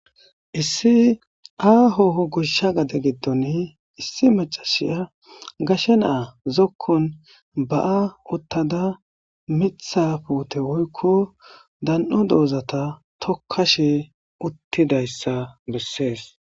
Issi aa hoho gushsha gade giddon issi macashiya gashe naa zokkon ba7a uttada mitha puute woykko dan7o doozata tokkashe uttidayssa bessees.